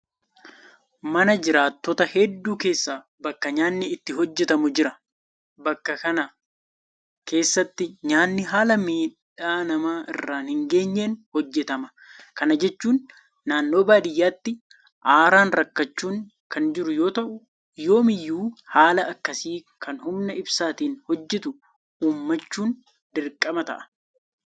Mana jiraattota hedduu keessa bakka nyaanni itti hojjetamu jira. bakka kana keessatti nyaanni haala miidhaa nama irraan hingeenyeen hojjetama. Kana jechuun naannoo baadiyyaatti aaraan rakkachuun kan jiru yoota'u yoomiyyuu haala akkasii kan humna ibsaatiin hojjetu uummachuun dirqama ta'a.